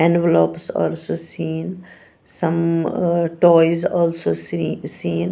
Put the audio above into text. envelopes also seen some uh toys also se seen.